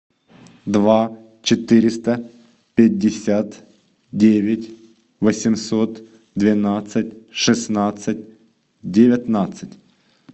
два четыреста пятьдесят девять восемьсот двенадцать шестнадцать девятнадцать